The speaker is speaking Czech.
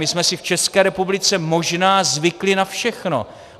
My jsme si v České republice možná zvykli na všechno.